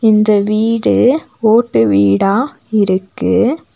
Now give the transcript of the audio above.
இந்த வீடு ஓட்டு வீடா இருக்கு.